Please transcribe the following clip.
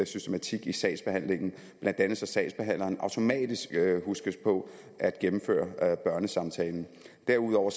systematik i sagsbehandlingen blandt andet så sagsbehandleren automatisk huskes på at gennemføre børnesamtalen derudover